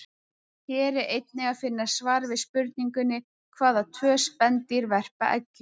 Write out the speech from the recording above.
Hér er einnig að finna svar við spurningunni: Hvaða tvö spendýr verpa eggjum?